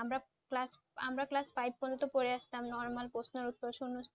আমরা class~ আমরা class five পর্যন্ত পড়ে আসতাম normal প্রশ্নের উত্তর